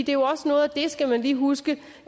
jo også noget af det skal man lige huske